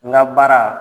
N ka baara